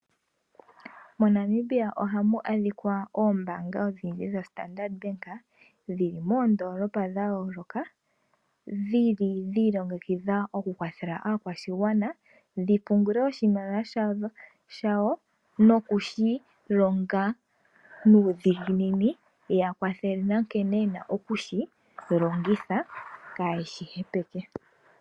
MoNamibia oha mu adhikwa ombanga odhindji dhoStandard Bank, dhili moondolopa dha yoloka dhili dhi ilongekidha oku kwathela aakwashigwana, dhi pungule oshimaliwa shawo noku shi longa nuudhiginini ya kwathele, na nkene yena okushi longitha kaashi hepeke.